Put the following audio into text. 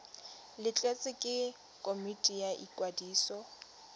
letleletswe ke komiti ya ikwadiso